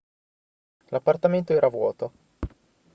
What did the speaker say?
l'appartamento era vuoto